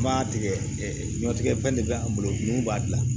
An b'a tigɛ ɲɔtigɛ fɛn de bɛ an bolo mun b'a dilan